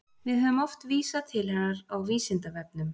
Við höfum oft vísað til hennar á Vísindavefnum.